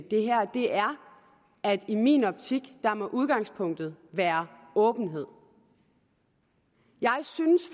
det her er at i min optik må udgangspunktet være åbenhed jeg synes